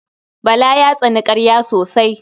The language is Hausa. Bala ya tsani ƙarya sosai.